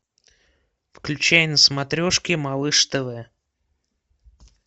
включай на смотрешке малыш тв